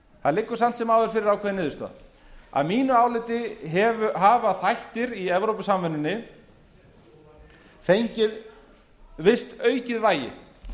það liggur samt sem áður fyrir ákveðin niðurstaða að mínu áliti hafa þættir í evrópusamvinnunni fengið visst aukið vægi